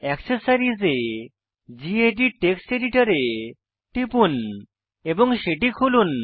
accessories এ গেদিত text editor এ টিপুন এবং সেটি খুলুন